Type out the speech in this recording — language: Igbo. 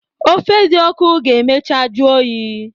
Ofe di ọku ga emecha juyi.